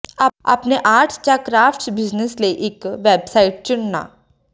ਆਪਣੇ ਆਰਟਸ ਜਾਂ crafts business ਲਈ ਇੱਕ ਵੈਬਸਾਈਟ ਚੁਣਨਾ